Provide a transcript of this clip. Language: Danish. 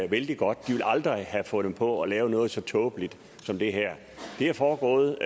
vældig godt ville aldrig have fundet på at lave noget så tåbeligt som det her det er foregået